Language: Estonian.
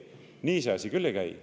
Nii see asi küll ei käi.